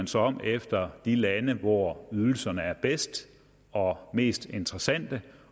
sig om efter de lande hvor ydelserne er bedst og mest interessante